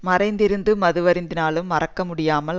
மறைந்திருந்து மதுவருந்தினாலும் மறைக்க முடியாமல்